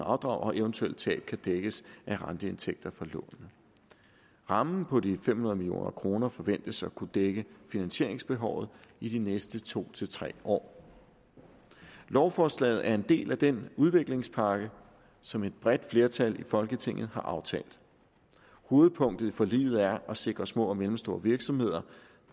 og eventuelle tab kan dækkes af renteindtægter fra lånene rammen på de fem hundrede million kroner forventes at kunne dække finansieringsbehovet i de næste to tre år lovforslaget er en del af den udviklingspakke som et bredt flertal i folketinget har aftalt hovedpunktet i forliget er at sikre at små og mellemstore virksomheder